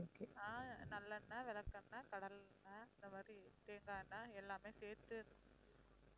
ஆஹ் நல்லெண்ணெய், விளக்கெண்ணெய், கடலை எண்ணெய், அந்த மாதிரி தேங்காய் எண்ணெய் எல்லாமே சேர்த்து